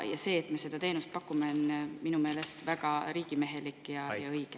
Ja see, et me seda teenust pakume, on minu meelest väga riigimehelik ja õige.